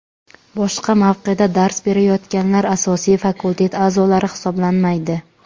Boshqa mavqeda dars berayotganlar asosiy fakultet a’zolari hisoblanmaydi.